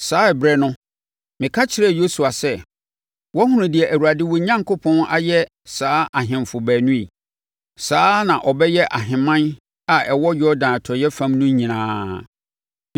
Saa ɛberɛ no, meka kyerɛɛ Yosua sɛ, “Woahunu deɛ Awurade wo Onyankopɔn ayɛ saa ahemfo baanu yi. Saa ara na ɔbɛyɛ ahemman a ɛwɔ Yordan atɔeɛ fam no nyinaa.